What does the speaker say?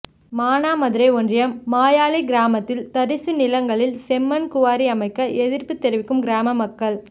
மானாமதுரை ஒன்றியம் மாயாளி கிராமத்தில் தரிசு நிலங்களில் செம்மண் குவாரி அமைக்க எதிர்ப்பு தெரிவிக்கும் கிராம மக்கள்